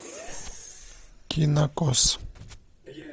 кинокос